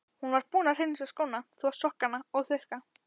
Hún var búin að hreinsa skóna, þvo sokkana og þurrka.